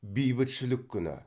бейбітшілік күні